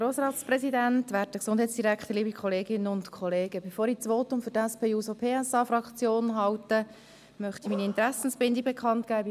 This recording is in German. Bevor ich das Votum für die SP-JUSO-PSA-Fraktion halte, möchte ich meine Interessenbindung bekannt geben: